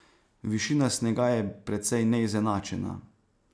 Višina snega je precej neizenačena.